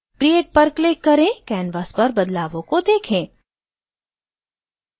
create पर click करें canvas पर बदलावों को देखें